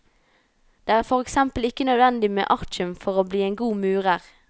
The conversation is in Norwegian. Det er for eksempel ikke nødvendig med artium for å bli en god murer.